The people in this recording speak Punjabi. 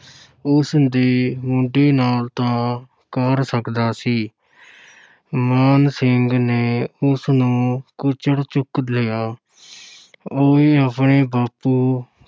ਉਸ ਦੇ ਮੁੰਡੇ ਨਾਲ ਤਾਂ ਕਰ ਸਕਦਾ ਸੀ ਮਾਨ ਸਿੰਘ ਨੇ ਉਸ ਨੂੰ ਕੁੱਛੜ ਚੁੱਕ ਲਿਆ ਓਏ, ਆਪਣੇ ਬਾਪੂ